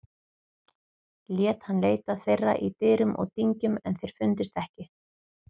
Lét hann leita þeirra í dyrum og dyngjum en þeir fundust ekki.